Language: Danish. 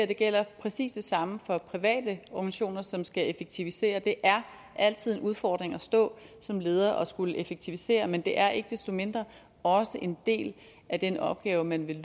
der gælder præcis det samme for private organisationer som skal effektivisere det er altid en udfordring at stå som leder og skulle effektivisere men det er ikke desto mindre også en del af den opgave man vil